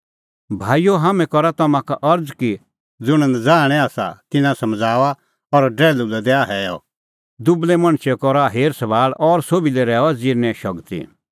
भाईओ हाम्हैं करा तम्हां का अरज़ कि ज़ुंण नज़ाहणै आसा तिन्नां समझ़ाऊआ और डरैल्हू लै दैआ हैअ दुबल़ै मणछे करा हेर सभाल़ और सोभी लै रहैऊआ ज़िरने शगती